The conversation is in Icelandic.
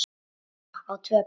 Elva á tvö börn.